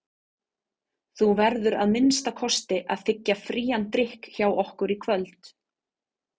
Þú verður að minnsta kosti að þiggja frían drykk hjá okkur í kvöld.